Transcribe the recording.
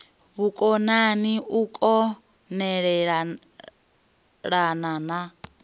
vhukonani u kon elelana na